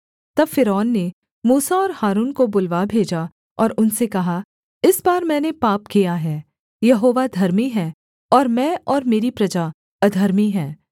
तब फ़िरौन ने मूसा और हारून को बुलवा भेजा और उनसे कहा इस बार मैंने पाप किया है यहोवा धर्मी है और मैं और मेरी प्रजा अधर्मी हैं